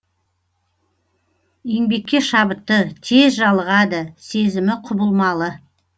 еңбекке шабытты тез жалығады сезімі құбылмалы